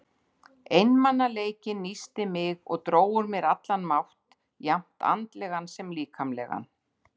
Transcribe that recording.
Einmanaleikinn nísti mig og dró úr mér allan mátt, jafnt andlegan sem líkamlegan.